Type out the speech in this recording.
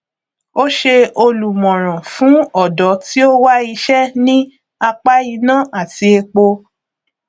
ó ṣe olùmọràn fún ọdọ tí ó wá iṣẹ ní apá iná àti epo